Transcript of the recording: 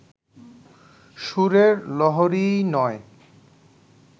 সুরের লহরীই নয়